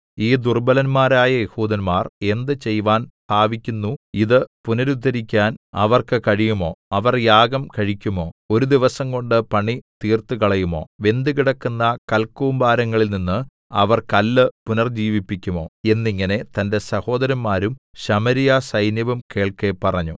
ഈ ദുർബ്ബലന്മാരായ യെഹൂദന്മാർ എന്ത് ചെയ്‌വാൻ ഭാവിക്കുന്നു ഇത് പുനരുദ്ധരിക്കാൻ അവർക്ക് കഴിയുമോ അവർ യാഗം കഴിക്കുമോ ഒരു ദിവസംകൊണ്ട് പണി തീർത്തുകളയുമോ വെന്തുകിടക്കുന്ന കൽക്കൂമ്പാരങ്ങളിൽനിന്ന് അവർ കല്ല് പുനർജ്ജീവിപ്പിക്കുമോ എന്നിങ്ങനെ തന്റെ സഹോദരന്മാരും ശമര്യസൈന്യവും കേൾക്കെ പറഞ്ഞു